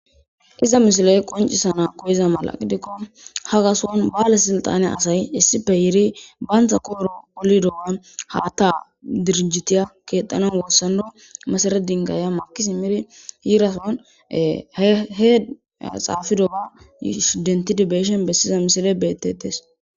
iza misiley qoncisana koyiza mala qidikko ha gaswon baale silxane asay issife yiri bayntha kooro olidowan haatta dirijitiya keexanan wossando masaredingaya makisi miri yiirason hhe xaafido ga sh dentidibeeshen bessiza misile betetes.